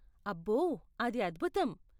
అబ్బో, అది అద్భుతం.